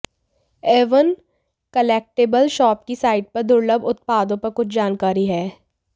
Avon collectible shop की site पर दुर्लभ उत्पादों पर कुछ जानकारी है